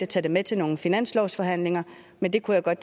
tage det med til nogle finanslovsforhandlinger men det kunne jeg